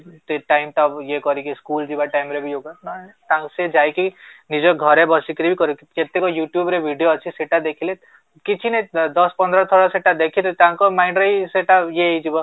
ସେ time ଟା ଇଏ କରିକି ସ୍କୁଲ ଯିବା time ରେ ବି yoga ଆଉ ସେ ଯାଇକି ନିଜ ଘରେ ବସିକିରି ବି କେତେକ youtube ରେ ଭିଡ଼ିଓ ଅଛି ସେଟା ଦେଖିଲେ କିଛି ନାହିଁ ଦଶ ପନ୍ଦର ଥର ସେଟା ଦେଖିଲେ ତାଙ୍କ mind ରେ ହିଁ ସେଟା ଇଏ ହେଇଯିବ